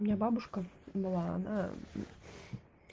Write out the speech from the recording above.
у меня бабушка была она